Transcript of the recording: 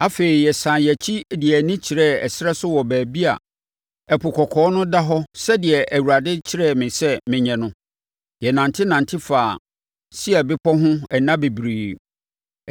Afei, yɛsane yɛn akyi de yɛn ani kyerɛɛ ɛserɛ so wɔ baabi a Ɛpo Kɔkɔɔ no da hɔ sɛdeɛ Awurade kyerɛɛ me sɛ menyɛ no. Yɛnantenante faa Seir bepɔ ho nna bebree.